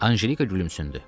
Anjelika gülümsündü.